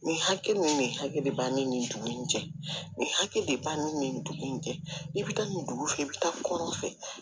Nin hakɛ min bɛ nin hakɛ de bɛ ni nin dugu in cɛ nin hakɛ de b'an ni nin dugu in cɛ i bɛ taa nin dugu fɛ i bɛ taa kɔrɔn fɛ